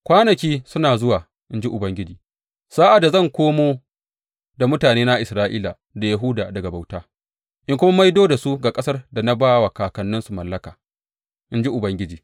Kwanaki suna zuwa,’ in ji Ubangiji, sa’ad da zan komo da mutanena Isra’ila da Yahuda daga bauta in kuma maido da su ga ƙasar da na ba wa kakanninsu mallaka,’ in ji Ubangiji.